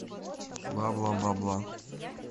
бла бла бла бла